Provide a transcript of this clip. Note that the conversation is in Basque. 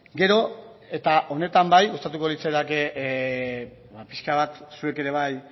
gero eta honetan bai gustatuko litzaidake pixka bat zuek ere bai